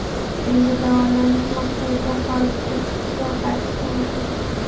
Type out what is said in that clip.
endi davolanish maqsadida xorijga chiqish va qaytish mumkin.